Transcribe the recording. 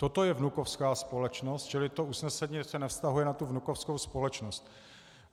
Toto je vnukovská společnost, čili to usnesení se nevztahuje na tu vnukovskou společnost.